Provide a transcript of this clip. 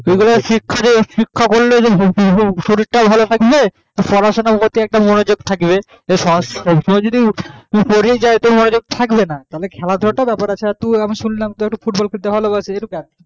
যেমন শিক্ষা করলে যেমন শরীর টা ভালো থাকে হ্যাঁ আবার পড়াশোনার প্রতি একটু মনোযোগ থাকবে সবসময় যদি পরে যাই তাহলে মনোযোগ থাকবে না খেলাধুলো তো ব্যাপার আছে হ্যাঁ শুনলাম তুই football খেলতে ভালো বাসিস